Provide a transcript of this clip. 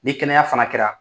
Ni kɛnɛya fana kɛra